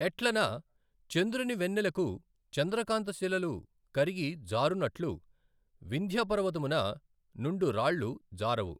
ఎట్లన చంద్రుని వెన్నెలకు చంద్రకాంత శిలలు కరిగి జారునట్లు వింధ్యపర్వతమున నుండు రాళ్ళు జారవు.